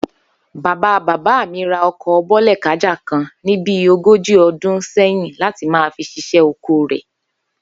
Bàbá bàbá mi ra o̩kò̩ Bó̩lè̩kája kan ní bí ogójì o̩dún sé̩yìn láti máa fi s̩is̩é̩ oko rè̩